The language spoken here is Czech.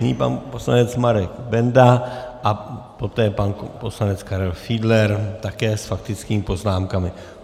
Nyní pan poslanec Marek Benda a poté pan poslanec Karel Fiedler, také s faktickými poznámkami.